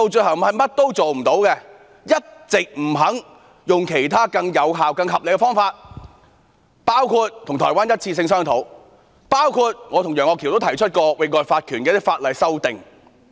她一直不肯採用其他更有效和合理的方法，包括與台灣進行"一次性"的商討，以及我和楊岳橋議員曾提出有關域外法權的一些法例修訂。